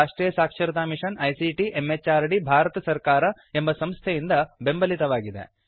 ಇದು ರಾಷ್ಟ್ರಿಯ ಸಾಕ್ಷರತಾ ಮಿಷನ್ ಐಸಿಟಿ ಎಂಎಚಆರ್ಡಿ ಭಾರತ ಸರ್ಕಾರ ಎಂಬ ಸಂಸ್ಥೆಯಿಂದ ಬೆಂಬಲಿತವಾಗಿದೆ